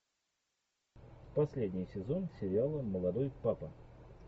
последний сезон сериала молодой папа